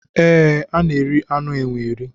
E, a na-eri anụ enwe eri.